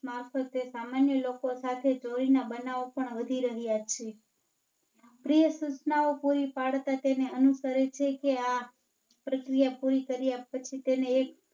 મારફતે સામાન્ય લોકો સાથે ચોરી ના બનાવો પણ વધી રહ્યા છે. પ્રિય સૂચનાઓ પૂરી પાડતા તેને અનુસરે છે કે આ પ્રક્રિયા પૂરી ફર્યા પછી તેને એક